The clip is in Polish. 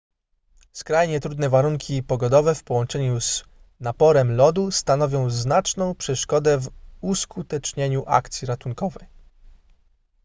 skrajnie trudne warunki pogodowe w połączeniu z naporem lodu stanowią znaczną przeszkodę w uskutecznieniu akcji ratunkowej